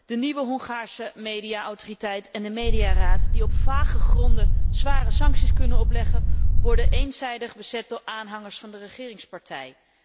De nieuwe Hongaarse media autoriteit en de mediaraad die op vage gronden zware sancties kunnen opleggen, worden eenzijdig bezet door aanhangers van de regeringspartij.